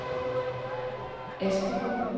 Asperup